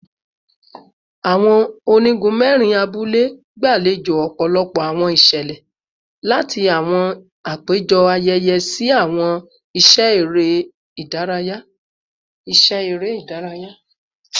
Awọn onigun mẹrin abule gbalejo ọpọlọpọ awọn iṣẹlẹ, lati awọn apejọ ayẹyẹ si awọn iṣẹ ere idaraya